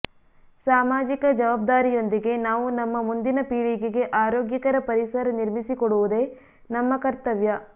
ಸಾಮಾಜಿಕ ಜವಾ ಬ್ದಾರಿಯೊಂದಿಗೆ ನಾವು ನಮ್ಮ ಮುಂದಿನ ಪೀಳಿಗೆಗೆ ಆರೋಗ್ಯಕರ ಪರಿಸರ ನಿರ್ಮಿಸಿ ಕೊಡುವುದೇ ನಮ್ಮ ಕರ್ತವ್ಯ